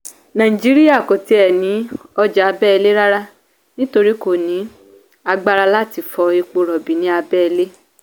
naijiriya kò ti ẹ ní ọjà abẹ́lé rárá nítorí kò ní agbára láti fọ epo rọ̀bì ní ábẹ́lẹ́.